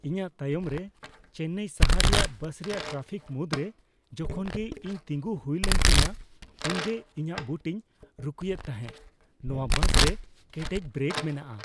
ᱤᱧᱟᱹᱜ ᱛᱟᱭᱚᱢᱨᱮ ᱪᱮᱱᱱᱟᱭ ᱥᱟᱦᱟᱨ ᱨᱮᱭᱟᱜ ᱵᱟᱥ ᱨᱮᱭᱟᱜ ᱴᱨᱟᱯᱷᱤᱠ ᱢᱩᱫᱽᱨᱮ ᱡᱚᱠᱷᱚᱱᱜᱮ ᱤᱧ ᱛᱤᱸᱜᱩ ᱦᱩᱭᱞᱮᱱ ᱛᱤᱧᱟᱹ ᱩᱱᱜᱮ ᱤᱧᱟᱹᱜ ᱵᱩᱴᱤᱧ ᱨᱩᱠᱩᱭᱮᱫ ᱛᱟᱦᱮᱸ ᱾ ᱱᱚᱶᱟ ᱵᱟᱥᱨᱮ ᱠᱮᱴᱮᱡ ᱵᱨᱮᱠ ᱢᱮᱱᱟᱜᱼᱟ ᱾